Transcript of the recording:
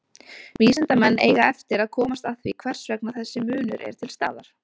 Vísindamenn eiga eftir að komast að því hvers vegna þessi munur er til staðar.